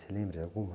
Você lembra de alguma?